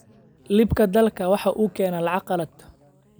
Iibka dalaggu waxa uu keenaa lacag qalaad.